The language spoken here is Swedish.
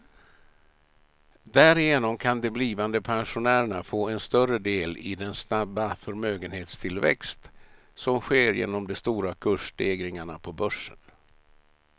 Därigenom kan de blivande pensionärerna få en större del i den snabba förmögenhetstillväxt som sker genom de stora kursstegringarna på börsen.